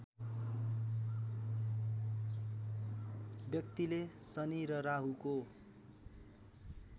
व्यक्तिले शनि र राहुको